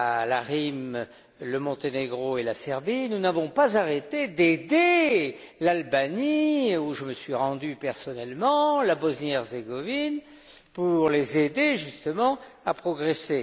l'ARYM, le Monténégro et la Serbie, nous n'avons pas arrêté d'aider l'Albanie, où je me suis rendu personnellement, et la Bosnie et Herzégovine, pour les aider justement à progresser.